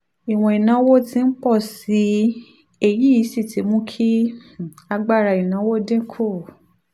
ìwọ̀n ìnáwó ti ń pọ̀ sí i èyí sì ti mú kí um agbára ìnáwó dín kù